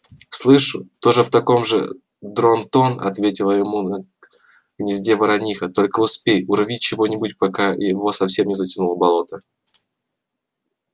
слышу тоже в таком же дрон-тон ответила ему на гнезде ворониха только успей урви чего-нибудь пока его совсем не затянуло болото